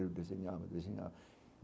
Eu desenhava, desenhava.